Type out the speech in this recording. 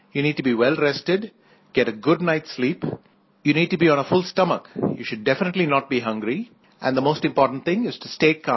you need to be well rested get a good night's sleep you need to be on a full stomach you should definitely not be hungry and the most important thing is to stay calm